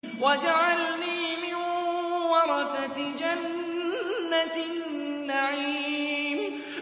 وَاجْعَلْنِي مِن وَرَثَةِ جَنَّةِ النَّعِيمِ